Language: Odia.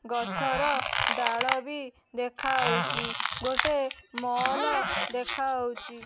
ଗଛର ଡାଳ ବି ଦେଖାଅଉଚି ଗୋଟେ ମଲ୍ ଦେଖାଅଉଚି ।